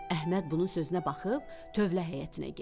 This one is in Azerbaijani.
Əhməd bunun sözünə baxıb tövlə həyətinə getdi.